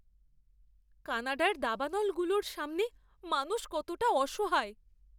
কানাডার দাবানলগুলোর সামনে মানুষ কতটা অসহায়!